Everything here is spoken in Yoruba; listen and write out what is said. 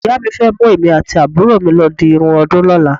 Ìyá mi fẹ́ mú èmi àti àbúrò mi lọ di irun ọdún lọ́la.